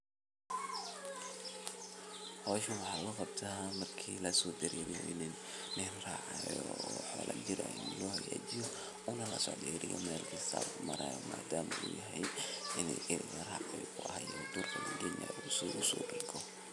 Howshan waxaa loo qabta marka lasodareeriyo in nin raaca oo xolo jir loxagajiyo ona lasocdo eriga mel kasta u marayo madama uu ayahay ini eri laraciyo oo durka lageynayo si usodergo.